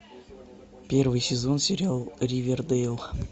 первый сезон сериал ривердейл